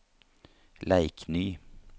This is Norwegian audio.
Leikny